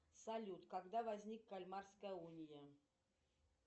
салют когда возник кальмарская уния